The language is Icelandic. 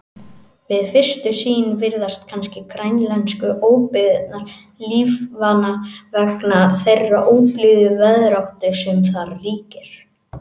Við fyrstu sýn virðast kannski grænlensku óbyggðirnar lífvana vegna þeirrar óblíðu veðráttu sem þar ríkir.